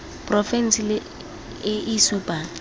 porofense le e e supang